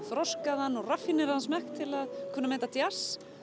þroskaðan og raffíneraðan smekk til að kunna að meta djass